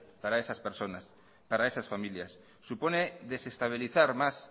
para esas personas para esas familias supone desestabilizar más